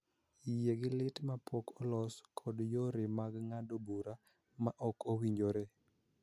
Yie gi lit ma pok olos kod yore mag ng�ado bura ma ok owinjore